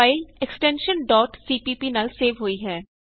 file extension cpp ਨਾਲ save ਹੋਈ ਹੈ